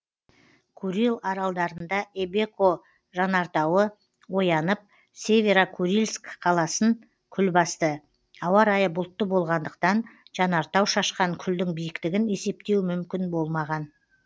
курил аралдарында эбеко жанартауы оянып северо курильск қаласын күл басты ауа райы бұлтты болғандықтан жанартау шашқан күлдің биіктігін есептеу мүмкін болмаған